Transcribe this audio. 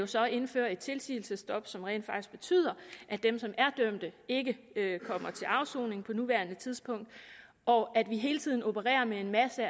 så indføre et tilsigelsesstop som rent faktisk betyder at dem som er dømt ikke kommer til afsoning på nuværende tidspunkt og at vi hele tiden opererer med en masse